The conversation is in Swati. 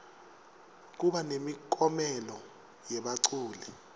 kuba nemiklomelo yebaculi